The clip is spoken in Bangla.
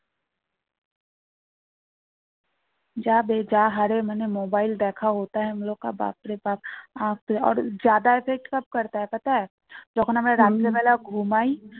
যাবে যা হারে মানে mobile দেখা effect যখন আমরা রাত্রি বেলা ঘুমাই